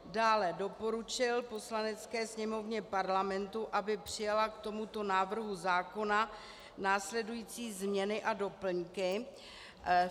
Dále doporučil Poslanecké sněmovně Parlamentu, aby přijala k tomuto návrhu zákona následující změny a doplňky.